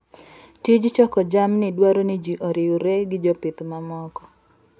Tij choko jamni dwaro ni ji oriwre gi jopith mamoko.